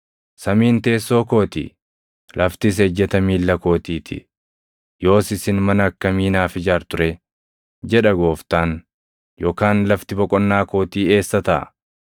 “ ‘Samiin teessoo koo ti; laftis ejjeta miilla kootii ti. Yoos isin mana akkamii naaf ijaartu ree? jedha Gooftaan. Yookaan lafti boqonnaa kootii eessa taʼa?